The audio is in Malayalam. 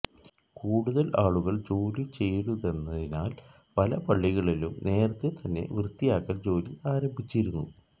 കൂടുതൽ ആളുകൾ ജോലി ചെയ്യരുതെന ്നതിനാൽ പല പള്ളികളിലും നേരത്തേ തന്നെ വൃത്തിയാക്കൽ ജോലി ആരംഭിച്ചിരുന്നു